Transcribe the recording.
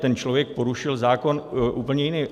Ten člověk porušil zákon úplně jiný.